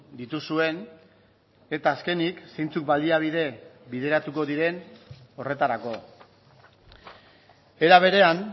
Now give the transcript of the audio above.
dituzuen eta azkenik zeintzuk baliabide bideratuko diren horretarako era berean